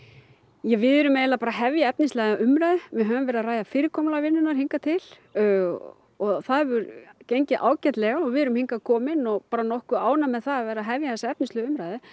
ja við erum eiginlega bara að hefja efnislega umræðu við höfum verið að ræða fyrirkomulag vinnunar hingað til og og það hefur gengið ágætlega og við erum hingað komin og bara nokkuð ánægð með að vera að hefja þessa efnislegu umræðu